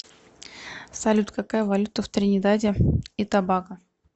салют какая валюта в тринидаде и тобаго